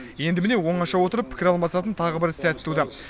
енді міне оңаша отырып пікір алмасатын тағы бір сәт туды